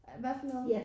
At hvad for noget